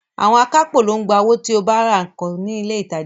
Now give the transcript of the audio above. Àwọn akápò ló ń gba owó tí o bá ra nǹkan ní ilé ìtajà ńlá